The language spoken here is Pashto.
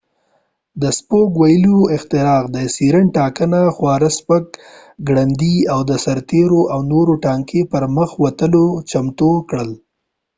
د سپوک ویلونو اختراع د اسيرين ټانګه خورا سپک ګړندي او د سرتیرو او نورو ټانګي پرمخ وتلو ته چمتو کړل